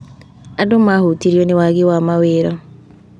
Andũ mahutirio nĩ waagi wa mawĩra.